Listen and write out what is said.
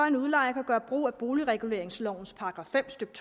en udlejer kan gøre brug af boligreguleringslovens § fem stykke